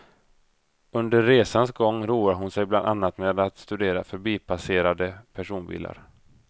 Under resans gång roar hon sig bland annat med att studera förbipasserade personbilar.